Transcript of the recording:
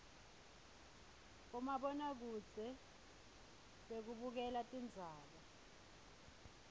bomabonakudze bekubukela tindzaba